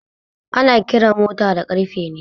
Ana ƙera mota da ƙarfe ne